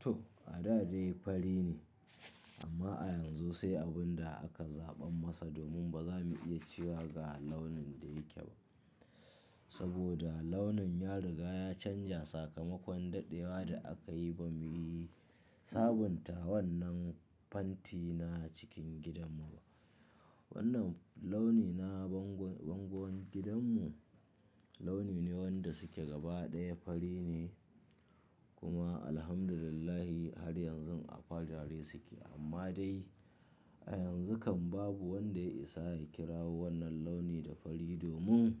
To, a da dai fari ne amma a yanzu sai abun da aka zaɓan masa domin ba za mu iya cewa ga launin da yake ba. Saboda launin ya riga ya canja sakamakon daɗewa da aka yi ba mu yi sabunta wannan fantina cikin gidanmu ba. Wannan launi na bango-bangon gidanmu launi ne wanda suke gaba ɗaya fari ne kuma Alhamdulillah har yanzu a farare suke amma dai a yanzu kam babu wanda isa ya kira wannan launi da fari domin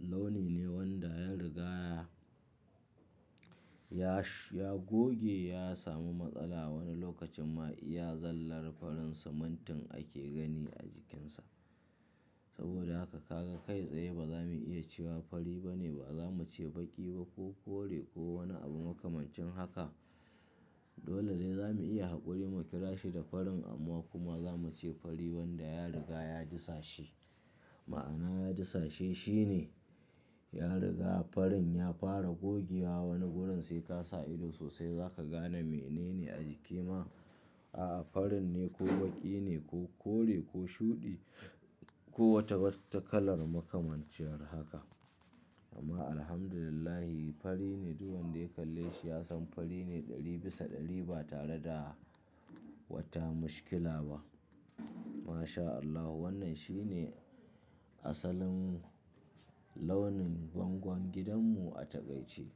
launi ne wanda ya riga ya sh-ya goge ya sami matsala wani lokacin ma iya zallar farin simintin ake gani a jikinsa. Saboda haka ka ga kai tsaye ba za mu iya cewa fari bane, ba za mu ce baƙi ba ko kore ko wani abu makamancin haka. Dole dai za mu iya haƙuri mu kira shi da farin amma kuma za mu ce fari wanda ya riga ya disashe. Ma'ana ya disashe shine ya riga farin ya fara gogewa wani wurin sai ka sa ido sosai za ka gane menene a jiki ma, a'a farin ne ko baƙi ne ko kore ko shuɗi ko wata wata kalar makamanciyar haka. Amma Alhamdulillah fari ne duk wanda ya kalle shi ya san fari ne ɗari bisa ɗari ba tare da wata mashkila ba. MashaAllah wannan shine asalin launin bangon gidanmu a taƙaice.